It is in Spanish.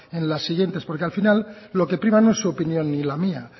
en las siguientes porque al final lo que prima no es su opinión ni la mía